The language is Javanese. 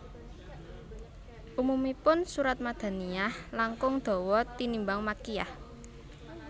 Umumipun surat Madaniyah langkung dawa tinimbang Makkiyah